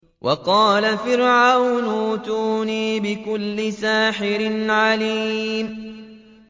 وَقَالَ فِرْعَوْنُ ائْتُونِي بِكُلِّ سَاحِرٍ عَلِيمٍ